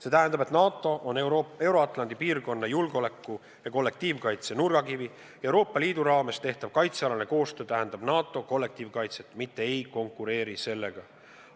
See tähendab, et NATO on Euro-Atlandi piirkonna julgeoleku ja kollektiivkaitse nurgakivi ja Euroopa Liidu raames tehtav kaitsealane koostöö tähendab NATO kollektiivkaitset, mitte ei konkureeri sellega.